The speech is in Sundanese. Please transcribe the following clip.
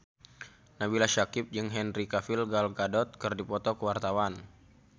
Nabila Syakieb jeung Henry Cavill Gal Gadot keur dipoto ku wartawan